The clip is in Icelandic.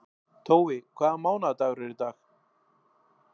Tói, hvaða mánaðardagur er í dag?